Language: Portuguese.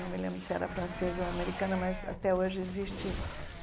Não me lembro se era francesa ou americana, mas até hoje existe.